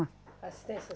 Assistência